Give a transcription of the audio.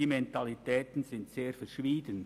Die Mentalitäten sind sehr verschieden.